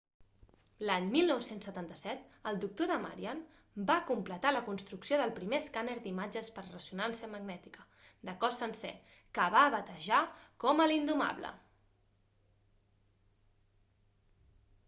l'any 1977 el dr. damadian va completar la construcció del primer escàner d'imatges per resonància magnètica de cos sencer que va batejar com a l'indomable